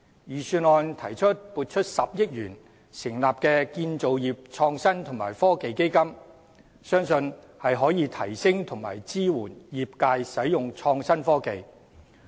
預算案提出撥款10億元成立建造業創新及科技基金，相信可以提升和支援業界使用創新科技。